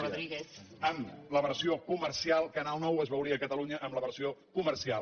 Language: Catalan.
en la versió comercial canal nou es veuria a catalunya en la versió comercial